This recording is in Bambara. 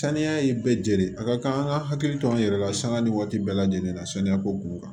Saniya ye bɛɛ de ye a ka kan an ka hakili to an yɛrɛ la sanga ni waati bɛɛ lajɛlen na saniya ko kun b'u kan